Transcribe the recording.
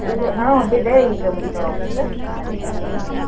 ಹಾ ಹೋಂಟ್ಟಿದ್ದೆ, ಈಗ ಮುಗಿತ್ ನೋಡ್ office ಬಂದ್ದಿದ್ದೆ ಮನಿಗ್.